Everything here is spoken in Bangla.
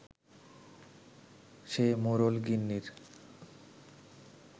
সে মোড়ল-গিন্নির